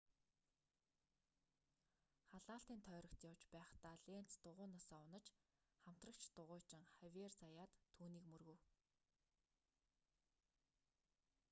халаалтын тойрогт явж байхдаа ленц дугуйнаасаа унаж хамтрагч дугуйчин хавиер заяат түүнийг мөргөв